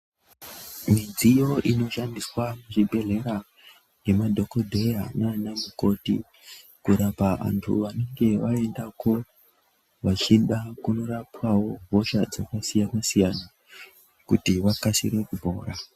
Midziyo inoshandiswa muzvibhedhleya nemadhokodheya nanamukoti kurapa antu anenge aendako vachida kunorapwawo hosha dzakasiyana siyana kuti vakasire kupora.